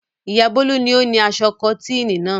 Ìyá Bólú ni ó ni aṣọ kọ́tíìnì náà.